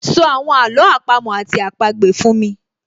So àwọn àló àpamọ́ àti àpagbè fún mi